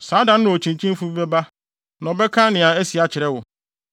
saa da no okyinkyinfo bi na ɔbɛba abɛka nea asi akyerɛ wo.